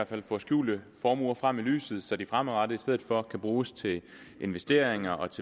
fald får skjulte formuer frem i lyset så de fremadrettet i stedet for kan bruges til investeringer og